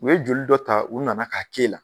U ye joli dɔ ta, u nana k'a k'e la